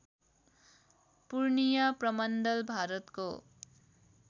पूर्णिया प्रमण्डल भारतको